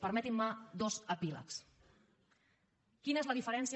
permetin me dos epílegs quina és la diferència